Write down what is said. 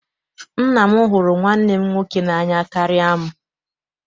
Nna m hụrụ nwanne m nwoke n'anya karịa m.